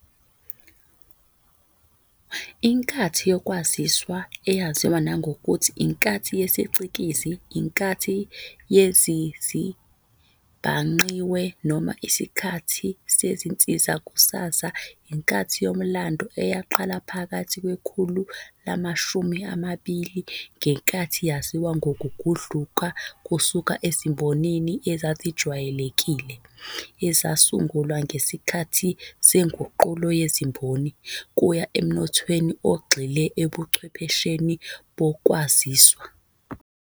Inkathi yokwaziswa, eyaziwa nangokuthi iNkathi yesiCikizi, iNkathi yezezibhangqiwe noma isiKhathi seziNsizakusakaza, iyinkathi yomlando eyaqala phakathi kwekhulu lama-20. Lenkathi yaziwa ngokugudluka kusuka ezimbonini ezazijwayelekile, ezasungulwa ngesikhathi seNguqulo yeziMboni, kuya emnothweni ogxile ebuchwephesheni bokwaziswa.